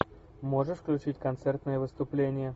можешь включить концертное выступление